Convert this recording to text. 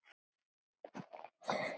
Bara brosti.